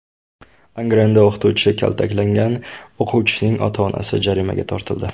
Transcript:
Angrenda o‘qituvchi kaltaklagan o‘quvchining ota-onasi jarimaga tortildi.